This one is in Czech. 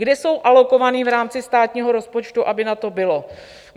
Kde jsou alokovány v rámci státního rozpočtu, aby na to bylo?